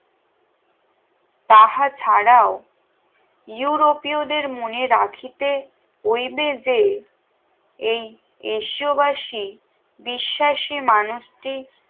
তাহা ছাড়াও ইউরোপীয়দের মনে রাখিতে যে এই এসইও বাসি বিশ্বাসী মানুষ টি